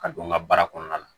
Ka don n ka baara kɔnɔna na